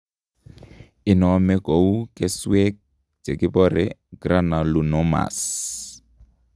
Inome kouu keswek chekibore granulomas